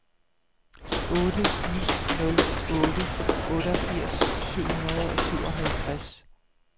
otte ni nul otte otteogfirs syv hundrede og syvoghalvtreds